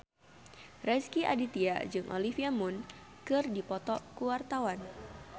Rezky Aditya jeung Olivia Munn keur dipoto ku wartawan